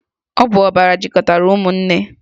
Ọ bụ ọbara jikọtara ụmụnne